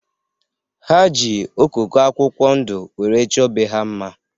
Ha ji okoko akwụkwọ ndu were chọ be ha mma